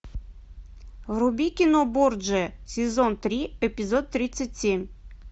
вруби кино борджиа сезон три эпизод тридцать семь